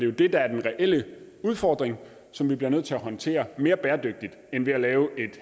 jo det der er den reelle udfordring som vi bliver nødt til at håndtere mere bæredygtigt end ved at lave et